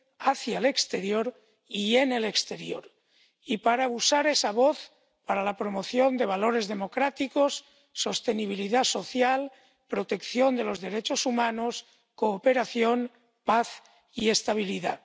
hacia el exterior y en el exterior, y para usar esa voz para la promoción de valores democráticos, sostenibilidad social, protección de los derechos humanos, cooperación, paz y estabilidad.